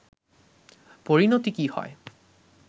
পরিনতি কী হয়